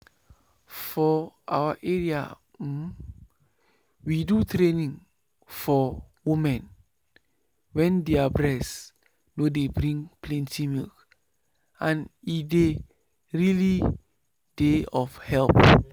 for our area um we do training for women wen their breast nor dey bring plenty milk and e really dey of help.